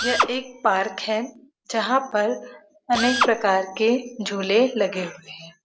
यह एक पार्क है जहां पर अनेक प्रकार के झूले लगे हुए हैं |